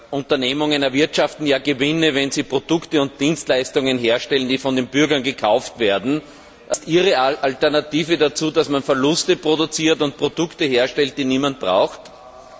Unternehmen erwirtschaften ja Gewinne, wenn sie Produkte und Dienstleistungen herstellen, die von den Bürgern gekauft werden Ist Ihre Alternative dazu, dass man Verluste produziert und Produkte herstellt, die niemand braucht? BRK